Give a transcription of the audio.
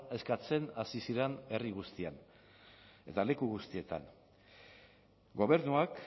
eskatzen hasi ziren herri guztian eta leku guztietan gobernuak